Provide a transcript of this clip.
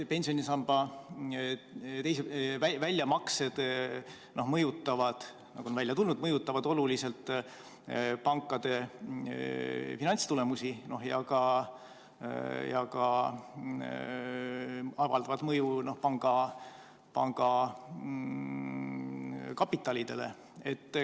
Pensionisamba väljamaksed, nagu on selgunud, mõjutavad oluliselt pankade finantstulemusi ja avaldavad mõju ka panga kapitalile.